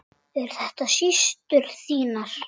Eru þetta systur þínar?